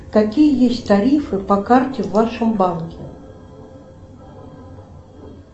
какие есть тарифы по карте в вашем банке